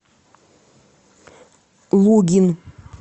лугин